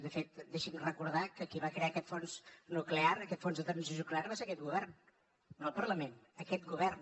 de fet deixi’m recordar que qui va crear aquest fons nuclear aquest fons de transició nuclear va ser aquest govern no el parlament aquest govern